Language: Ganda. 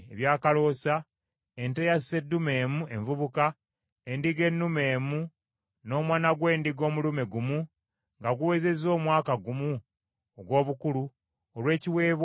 ente eya sseddume emu envubuka, endiga ennume emu, n’omwana gw’endiga omulume gumu nga guwezezza omwaka gumu ogw’obukulu, olw’ekiweebwayo ekyokebwa;